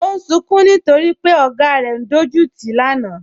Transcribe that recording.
Ọ̀ n sùǹkún nítorí pẹ̀ ogá rẹ̀ n dọjútì rẹ̀ lánà